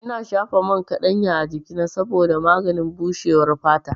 Ina shafa man kaɗanya a jikina saboda maganin bushewar fata.